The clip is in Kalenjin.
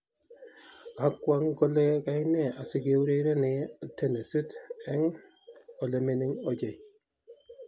Kakwong kole kaine asigeurerenye tenisit eng olemining ochei